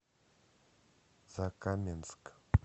закаменск